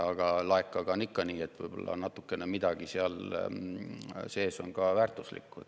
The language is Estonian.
Aga laekaga on ikka nii, et võib-olla midagi seal sees on ka natukene väärtuslik.